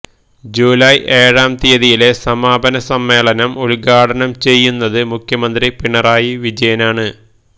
July ഏഴാം തീയതിയിലെ സമാപന സമ്മേളനം ഉദ്ഘാടനം ചെയ്യുന്നത് മുഖ്യമന്ത്രി പിണറായി വിജയനാണ്